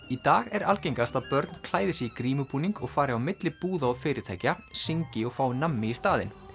í dag er algengast að börn klæði sig í grímubúning og fari á milli búða og fyrirtækja syngi og fái nammi í staðinn